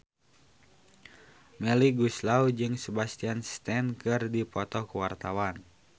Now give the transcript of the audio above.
Melly Goeslaw jeung Sebastian Stan keur dipoto ku wartawan